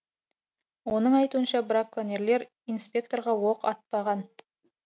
оның айтуынша браконьерлер инспекторға оқ атпаған